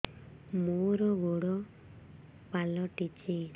ମୋର ଗୋଡ଼ ପାଲଟିଛି